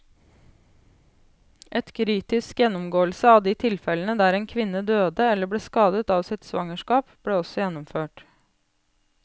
En kritisk gjennomgåelse av de tilfellene der en kvinne døde eller ble skadet av sitt svangerskap, ble også gjennomført.